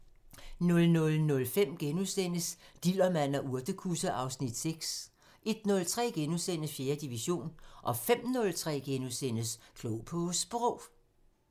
00:05: Dillermand og urtekusse (Afs. 6)* 01:03: 4. division * 05:03: Klog på Sprog *